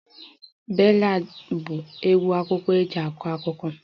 Ballads bụ egwu akụkọ eji akọ akụkọ